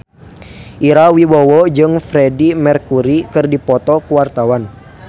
Ira Wibowo jeung Freedie Mercury keur dipoto ku wartawan